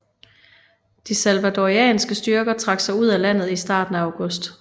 De salvadorianske styrker trak sig ud af landet i starten af august